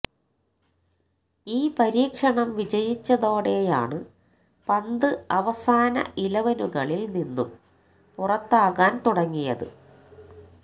ഈ പരീക്ഷണം വിജയിച്ചതോടെയാണ് പന്ത് അവസാന ഇലവനുകളില് നിന്നും പുറത്താകാന് തുടങ്ങിയത്